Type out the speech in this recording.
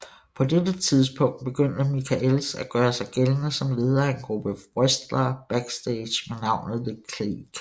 På dette tidspunkt begyndte Michaels at gøre sig gældende som leder af en gruppe wrestlere backstage med navnet The Clique